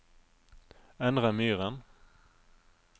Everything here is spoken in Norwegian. Endre Myhren